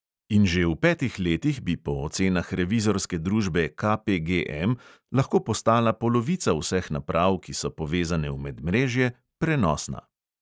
In že v petih letih bi po ocenah revizorske družbe KPGM lahko postala polovica vseh naprav, ki so povezane v medmrežje, prenosna.